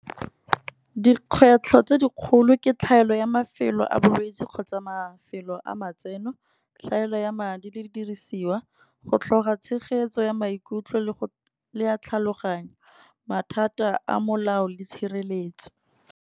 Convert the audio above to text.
Dikgwetlho tse dikgolo ke tlhaelo ya mafelo a bolwetsi kgotsa mafelo a matseno. Tlhaelo ya madi le di dirisiwa go tlhoka tshegetso ya maikutlo, le a tlhaloganyo, mathata a molao le tshireletso.